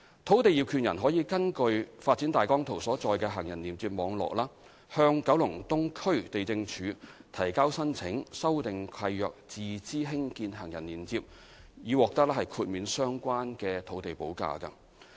土地業權人可根據發展大綱圖所載的行人連接網絡，向九龍東區地政處提交申請修訂契約自資興建行人連接，以獲豁免相關的土地補價。